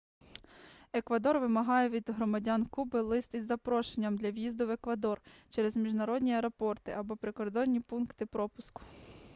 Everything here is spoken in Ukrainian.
еквадор вимагає від громадян куби лист із запрошенням для в'їзду в еквадор через міжнародні аеропорти або прикордонні пункти пропуску